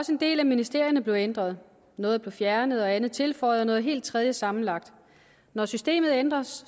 også en del af ministerierne blev ændret noget blev fjernet andet blev tilføjet noget helt tredje sammenlagt når systemet ændres